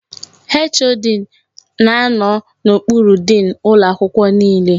HOD na anọ n'okpuru diin ụlọ akwụkwọ niile.